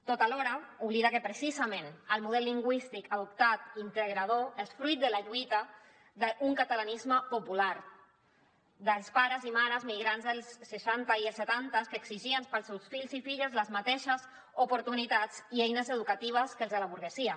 tot alhora oblida que precisament el model lingüístic adoptat integrador és fruit de la lluita d’un catalanisme popular dels pares i mares migrants dels seixanta i els setanta que exigien per als seus fills i filles les mateixes oportunitats i eines educatives que els de la burgesia